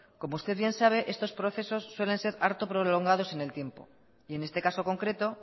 como usted bien sabe estos procesos suelen ser harto prolongados en el tiempo y en este caso concreto